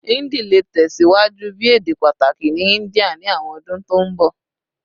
Hindi le tẹsiwaju bi ede pataki ni India ni awọn ọdun to nbọ